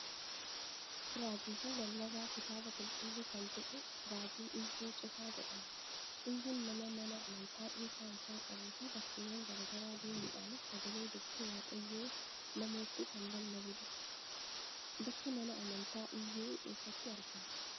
Raajii fi lallabaa kitaaba qulqulluu kan ta'e raajii Iyyuu Cufaa jedhama. Iyyuun nama mana amantaa dhuunfaa isaa qabuu fi bakkeewwan garaa garaa deemuudhaanis sagalee dubbii waaqayyoo namootti kan lallabudha. Bakki mana amantaa Iyyuu eessatti argama?